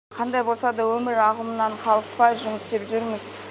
қандай болса да өмір ағымынан қалыспай жұмыс істеп жүрміз